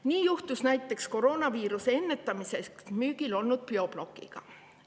Nii juhtus näiteks koroonaviiruse ennetamiseks müügil olnud Bioblockiga.